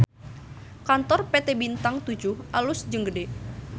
Kantor PT Bintang Toejoeh alus jeung gede